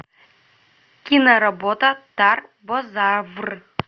киноработа тарбозавр